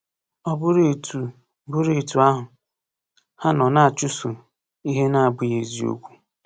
Ọ bụrụ etu bụrụ etu ahụ, ha nọ na-achụso ihe na-abụghị eziokwu!